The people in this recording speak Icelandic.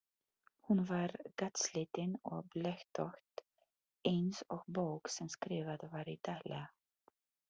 Hún var gatslitin og blettótt eins og bók sem skrifað var í daglega.